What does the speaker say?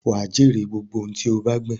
Wà á jèrè gbogbo ohun tí ó bá gbìn.